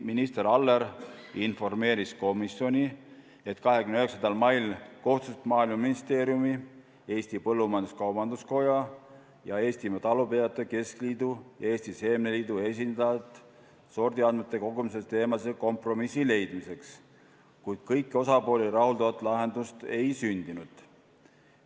Minister Aller informeeris komisjoni, et 29. mail kohtusid Maaeluministeeriumi, Eesti Põllumajandus-Kaubanduskoja, Eestimaa Talupidajate Keskliidu ja Eesti Seemneliidu esindajad sordiandmete kogumise teemadel kompromissi leidmiseks, kuid kõiki osapooli rahuldavat lahendust ei sündinud.